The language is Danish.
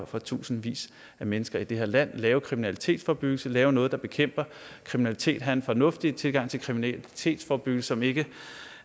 for tusindvis af mennesker i det her land lave kriminalitetsforebyggelse lave noget der bekæmper kriminalitet have en fornuftig tilgang til kriminalitetsforebyggelse som ikke